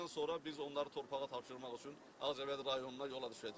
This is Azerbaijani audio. Ondan sonra biz onları torpağa tapşırmaq üçün Ağcabədi rayonuna yola düşəcəyik.